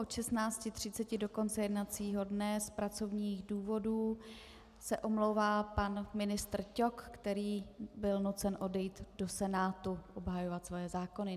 Od 16.30 do konce jednacího dne z pracovních důvodů se omlouvá pan ministr Ťok, který byl nucen odejít do Senátu obhajovat svoje zákony.